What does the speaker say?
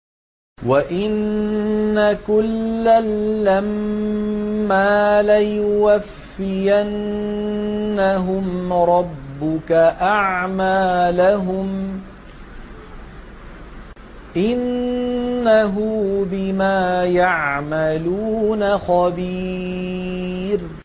وَإِنَّ كُلًّا لَّمَّا لَيُوَفِّيَنَّهُمْ رَبُّكَ أَعْمَالَهُمْ ۚ إِنَّهُ بِمَا يَعْمَلُونَ خَبِيرٌ